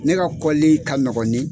Ne ka kɔli ka nɔgɔn ni